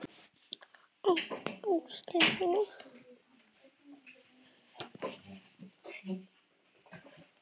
Ó ástin mín.